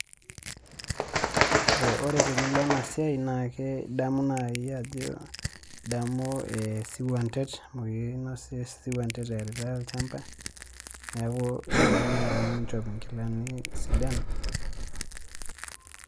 Ore tenilo enasiai naake idamu nai ajo idamu esiwuantet amu kinosisho esiwuantet eeritai olchamba, neeku idim nai ninchop inkilani sidan.